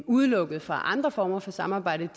udelukket fra andre former for samarbejde